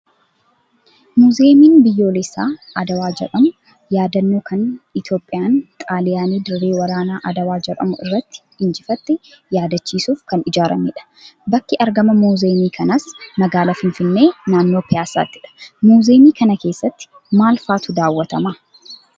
Muuziyeemiin biyyoolessaa Adwaa jedhamu yaadannoo kan Itoophiyaan xaaliyaanii dirree waraanaa Adwaa jedhamu irratti injifatte yaadachiisuuf kan ijaaramedha. Bakki argama muuziyeemii kanaas magaalaa finfinnee naannoo piyaasaattidha. Muuziyeemii kana keessatti maal fa'aatu daawwatamaa?